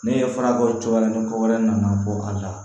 Ne ye fura bɔ cogo wɛrɛ ni ko wɛrɛ nana bɔ ka ɲa